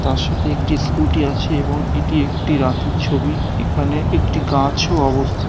তার সাথে একটি স্ক্যুটি আছে এবং এটি একটি রাতের ছবি এখানে একটি গাছও অবস্থি--